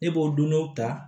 E b'o dɔn dɔw ta